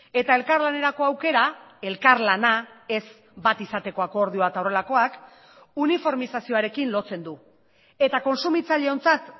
eta elkarlanerako aukera elkarlana ez bat izateko akordioa eta horrelakoak uniformizazioarekin lotzen du eta kontsumitzaileontzat